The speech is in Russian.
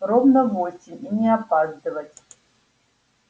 ровно в восемь и не опаздывать